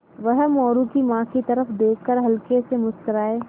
वह मोरू की माँ की तरफ़ देख कर हल्के से मुस्कराये